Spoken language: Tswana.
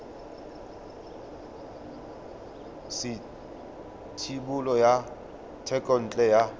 sa thebolo ya thekontle ya